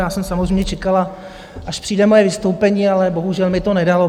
Já jsem samozřejmě čekala, až přijde moje vystoupení, ale bohužel mi to nedalo.